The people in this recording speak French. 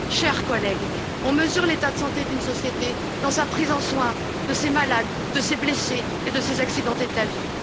Chers collègues, on mesure l'état de santé d'une société dans sa prise en soin de ses malades, de ses blessés et de ses accidentés de la vie.